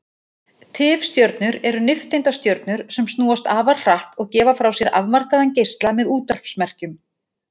Tifstjörnur eru nifteindastjörnur sem snúast afar hratt og gefa frá sér afmarkaðan geisla með útvarpsmerkjum.